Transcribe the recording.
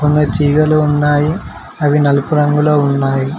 అలాగే తీగలు ఉన్నాయి అవి నలుపు రంగులో ఉన్నాయి